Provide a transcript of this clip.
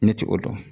Ne t'o dɔn